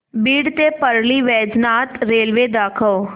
बीड ते परळी वैजनाथ रेल्वे दाखव